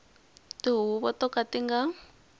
tihuvo to ka ti nga